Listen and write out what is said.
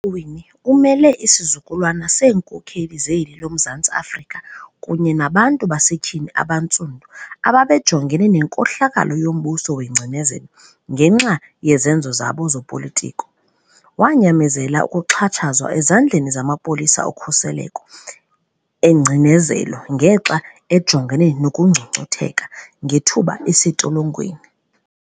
uMam'uWinnie umele isizukulwana seenkokheli zeli loMzantsi-Afrika kunye nabantu basetyhini abantsundu abebejongene nenkohlakalo yombuso wengcinezelo ngenxa yezenzo zabo zopolitiko. Wanyamezela ukuxhatshazwa ezandleni zamapolisa okhuseleko engcinezelo ngexa ejongene nokungcungcutheka ngethuba esentolongweni.